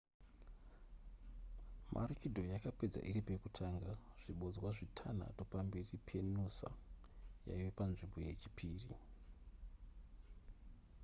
maroochydore yakapedza iri pekutanga zvibodzwa zvitanhatu pamberi penoosa yaiva panzvimbo yechipiri